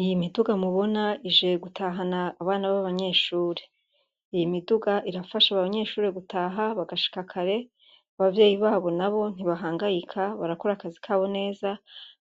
Iyi miduga mubona ije gutahana abana b'abanyeshure, iyi miduga irafasha abanyeshure gutaha bagashika kare, abavyeyi babo nabo ntibahangayika barakora akazi kabo neza